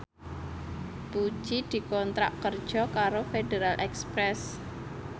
Puji dikontrak kerja karo Federal Express